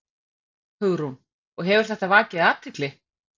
Hugrún: Og hefur þetta vakið athygli?